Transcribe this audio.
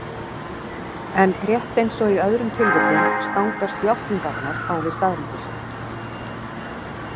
En rétt eins og í öðrum tilvikum stangast játningarnar á við staðreyndir.